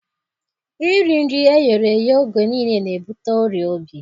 Iri nri eghereghe oge niile na-ebute ọrịa obi